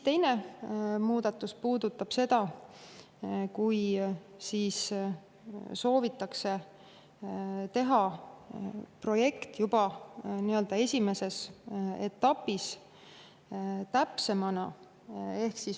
Teine muudatus puudutab seda, kui soovitakse juba menetluse esimeses etapis teha täpsem projekt.